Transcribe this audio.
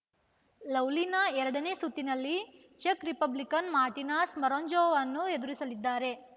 ಲವ್ಲಿನಾ ಎರಡನೇ ಸುತ್ತಿನಲ್ಲಿ ಚೆಕ್‌ರಿಪಬ್ಲಿಕ್‌ನ ಮಾರ್ಟಿನಾ ಶ್ಮರಂಜೋವಾರನ್ನು ಎದುರಿಸಲಿದ್ದಾರೆ